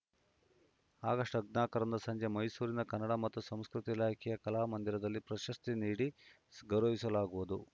August ಹದಿನಾಕರಂದು ಸಂಜೆ ಮೈಸೂರಿನ ಕನ್ನಡ ಮತ್ತು ಸಂಸ್ಕೃತಿ ಇಲಾಖೆಯ ಕಲಾಮಂದಿರಲ್ಲಿ ಪ್ರಶಸ್ತಿ ನೀಡಿ ಗೌರವಿಸಲಾಗುವುದು